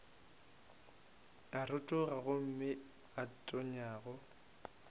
a rotoga gomme a tonyago